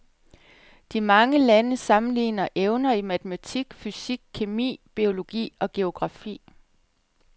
De mange lande sammenligner evner i matematik, fysik, kemi, biologi og geografi.